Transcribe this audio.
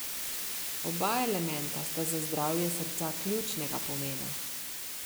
Oba elementa sta za zdravje srca ključnega pomena.